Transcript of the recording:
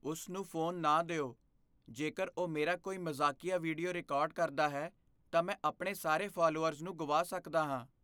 ਉਸ ਨੂੰ ਫ਼ੋਨ ਨਾ ਦਿਓ। ਜੇਕਰ ਉਹ ਮੇਰਾ ਕੋਈ ਮਜ਼ਾਕੀਆ ਵੀਡੀਓ ਰਿਕਾਰਡ ਕਰਦਾ ਹੈ, ਤਾਂ ਮੈਂ ਆਪਣੇ ਸਾਰੇ ਫਾਲੋਅਰਜ਼ ਨੂੰ ਗੁਆ ਸਕਦਾ ਹਾਂ।